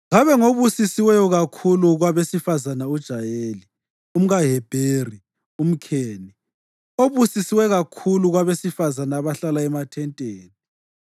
Kabe ngobusiswe kakhulu kwabesifazane uJayeli, umkaHebheri umKheni, obusiswe kakhulu kwabesifazane abahlala emathenteni.